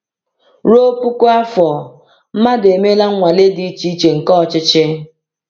Ruo puku afọ, mmadụ emeela nnwale dị iche iche nke ọchịchị.